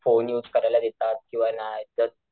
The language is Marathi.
फोन युज करायला देतात किंवा नाय तर,